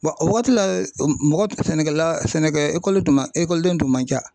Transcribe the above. o wagati la mɔgɔ sɛnɛkɛla sɛnɛkɛ ekɔli tun man ekɔliden tun man ca.